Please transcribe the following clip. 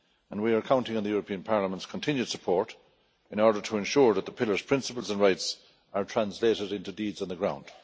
We are counting on the European Parliament's continued support in order to ensure that the pillar's principles and rights are translated into deeds on the ground.